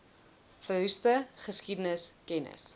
verroeste geskiedenis kennis